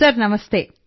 sir ನಮಸ್ತೆ